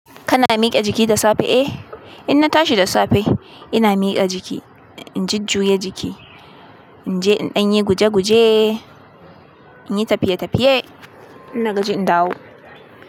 Kana mike jiki da safe eh? Inna tashi da safe ina mike jiki, in jujuye jiki, inje inɗanyi guje guje, inyi tafiye tafiye innagaji in dawo.